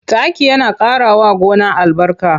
Taki yana ƙarawa gona albarka.